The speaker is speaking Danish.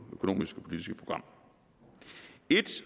økonomisk politiske program ét